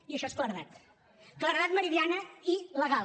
i això és claredat claredat meridiana i legal